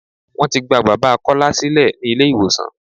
Wọ́n ti gba bàbá Kọ́lá sílẹ̀ ní ilé ìwòsàn.